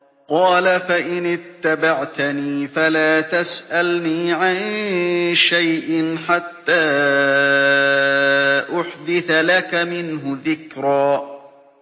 قَالَ فَإِنِ اتَّبَعْتَنِي فَلَا تَسْأَلْنِي عَن شَيْءٍ حَتَّىٰ أُحْدِثَ لَكَ مِنْهُ ذِكْرًا